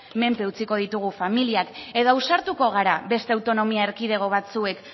menpe utziko ditugu familiak edo ausartuko gara beste autonomia erkidego batzuek